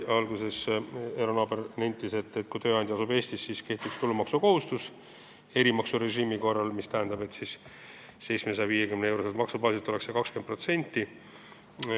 Alguses nentis Eero Naaber, et kui tööandja asub Eestis, siis kehtiks tulumaksukohustus erimaksurežiimi korral, mis tähendab, et see oleks 20% 750-euroselt maksubaasilt.